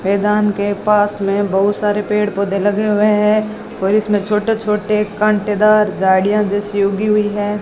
मैदान के पास में बहुत सारे पेड़-पौधे लगे हुए हैं और इसमें छोटे-छोटे कांटेदार झाड़ियां जैसी उगी हुई है।